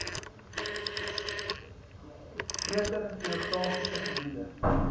groter geografiese gebiede